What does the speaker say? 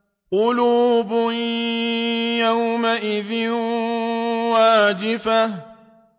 قُلُوبٌ يَوْمَئِذٍ وَاجِفَةٌ